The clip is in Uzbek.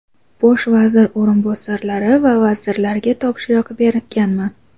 Bosh vazir o‘rinbosarlari va vazirlarga topshiriq berganman.